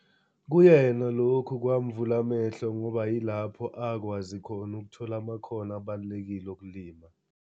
Kuyena lokhu kwamvula amehlo ngoba yilapho akwazi khona ukuthola amakhono abalulekile okulima.